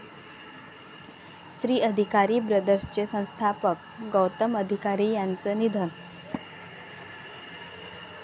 'श्री अधिकारी ब्रदर्स'चे संस्थापक गौतम अधिकारी यांचं निधन